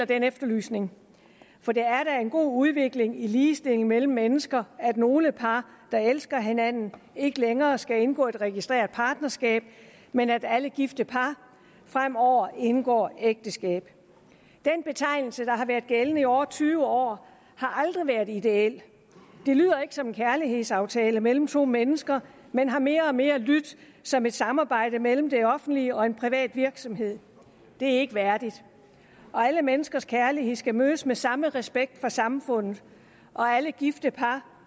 den efterlysning for det er da en god udvikling i ligestillingen mellem mennesker at nogle par der elsker hinanden ikke længere skal indgå registreret partnerskab men at alle gifte par fremover indgår ægteskab den betegnelse der har været gældende i over tyve år har aldrig været ideel det lyder ikke som en kærlighedsaftale mellem to mennesker men har mere og mere lydt som et samarbejde mellem det offentlige og en privat virksomhed det er ikke værdigt alle menneskers kærlighed skal mødes med samme respekt fra samfundet og alle gifte par